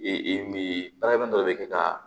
mi baarakɛ dɔ de bɛ kɛ ka